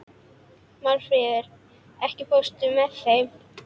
Málfríður, ekki fórstu með þeim?